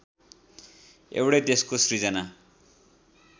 एउटै देशको सिर्जना